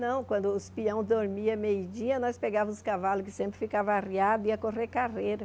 Não, quando os peão dormia, meio dia, nós pegávamos os cavalos que sempre ficava arriado, e ia correr carreira.